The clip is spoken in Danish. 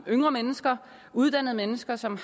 yngre mennesker uddannede mennesker som